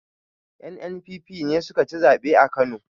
NNPP ne sukaci zaɓe a kano